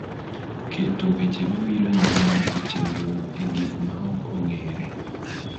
keto weche mabiro nyime mag chenrono e gik ma ok ong�ere.